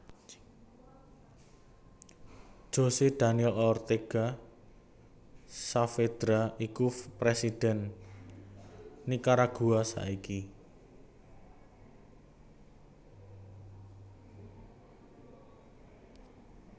José Daniel Ortega Saavedra iku Presidhèn Nikaragua saiki